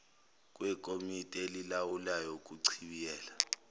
kwekomidi elilawulayo ukuchibiyela